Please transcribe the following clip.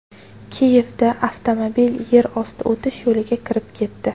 Kiyevda avtomobil yer osti o‘tish yo‘liga kirib ketdi.